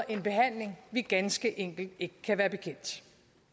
en behandling vi ganske enkelt ikke kan være bekendt